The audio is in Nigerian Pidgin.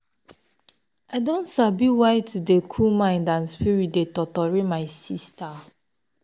i don sabi why to dey cool mind and spirit dey totori my sister.